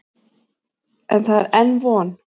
En það er enn von.